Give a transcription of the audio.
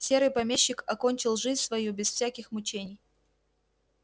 серый помещик окончил жизнь свою без всяких мучений